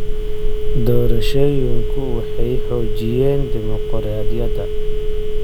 Doorashooyinku waxay xoojiyeen dimuqraadiyadda.